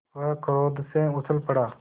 वह क्रोध से उछल पड़ा